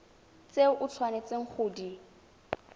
tse o tshwanetseng go di